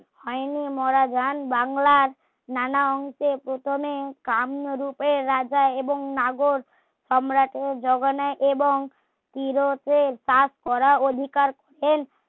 হয়নি মোরা গান বাংলার নানা অংকে প্রথমে কান্য রূপের রাজা এবং নাগর সম্রাটের জোগানে এবং কিরোতের কাজ করার অধিকার